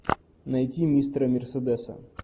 найти мистера мерседеса